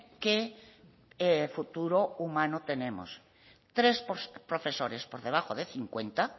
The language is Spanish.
qué futuro humano tenemos tres profesores por debajo de cincuenta